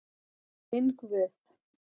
Minn Guð.